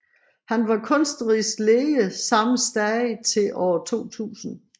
Han var kunstnerisk leder samme sted til år 2000